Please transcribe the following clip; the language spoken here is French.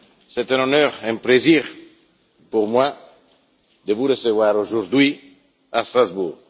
C'est un honneur et un plaisir pour moi de vous recevoir aujourd'hui à Strasbourg.